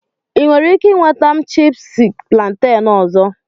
Ị nwere ike nweta m chipúsí plantain ọzọ